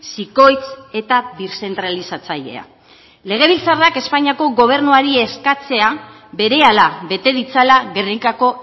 zikoitz eta birzentralizatzailea legebiltzarrak espainiako gobernuari eskatzea berehala bete ditzala gernikako